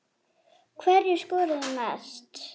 Hverjir skoruðu mest?